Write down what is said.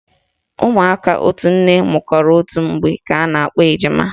Ụmụaka otu nne amụkọrọ otu mgbe ka a na-akpọ ejima